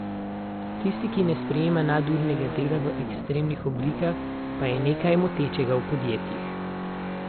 Tisti, ki ne sprejema nadurnega dela v ekstremnih oblikah, pa je nekaj motečega v podjetjih.